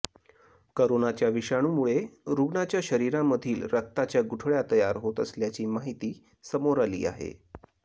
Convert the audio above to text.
करोनाच्या विषाणूमुळे रुग्णाच्या शरीरामधील रक्ताच्या गुठळ्या तयार होत असल्याची माहिती समोर आली आहे